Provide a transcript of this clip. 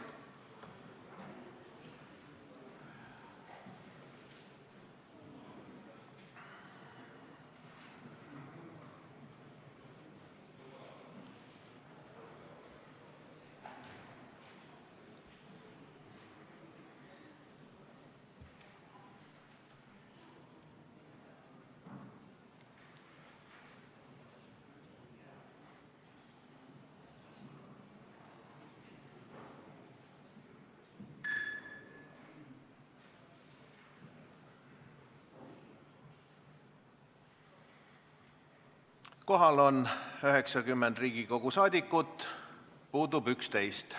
Kohaloleku kontroll Kohal on 90 Riigikogu liiget, puudub 11.